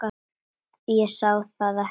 Ég sá það ekki þá.